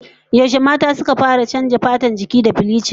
Yaushe mata suka fara neman canza fatar jiki da bilichin?